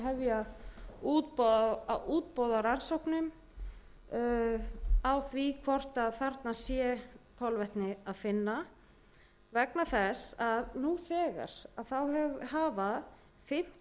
hefja útboð á rannsóknum á því hvort þarna sé kolvetni að finna vegna þess að nú þegar hafa fimmtíu og sjö sýni verið tekin